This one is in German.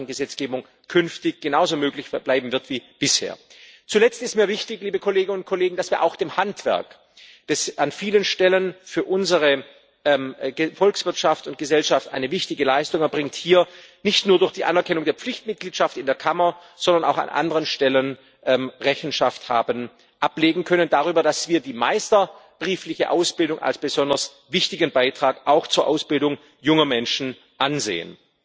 Gesetzgebung der Mitgliedstaaten künftig genauso möglich bleiben wird wie bisher. Zuletzt ist mir wichtig, dass wir auch dem Handwerk, das an vielen Stellen für unsere Volkswirtschaft und Gesellschaft eine wichtige Leistung erbringt, hier nicht nur durch die Anerkennung der Pflichtmitgliedschaft in der Kammer, sondern auch an anderen Stellen Rechenschaft haben ablegen können darüber, dass wir die meisterbriefliche Ausbildung als besonders wichtigen Beitrag auch zur Ausbildung junger Menschen ansehen.